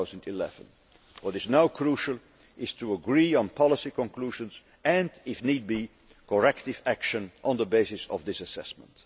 2011. What is now crucial is to agree on policy conclusions and, if need be, corrective action on the basis of this assessment.